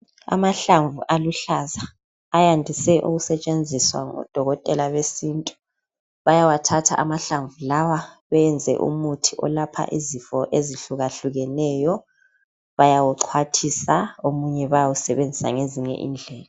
Amahlamvu aluhlaza ayandise ukusetshenziswa ngodokoela besintu bayawathatha amahlamvu lawa beyenze umuthi olapha izifo ezihlukahlukeneyo bayawuxhwathisa omunye bayawusebenzisa ngezinye indlela.